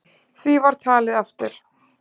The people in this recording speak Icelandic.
Því var talið aftur.